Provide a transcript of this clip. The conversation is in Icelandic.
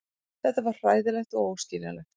Þetta var hræðilegt og óskiljanlegt.